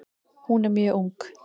Hún er mjög ung.